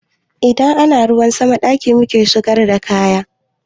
Idan ana ruwan sama a ɗaki muke busar da kaya